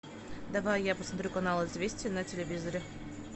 давай я посмотрю канал известия на телевизоре